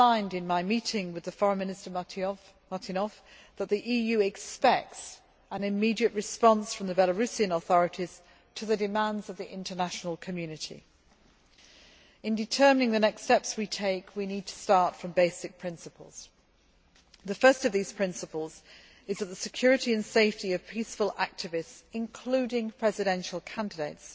In my meeting with Foreign Minister Martynov, I emphasised that the EU expects an immediate response from the Belarusian authorities to the demands of the international community. In determining the next steps we take, we need to start from basic principles. The first of these principles is that the security and safety of peaceful activists, including presidential candidates,